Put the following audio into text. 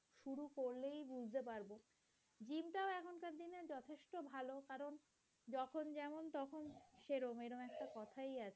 তখন যেমন তখন সেরোম এরোম একটা কথাই আছে।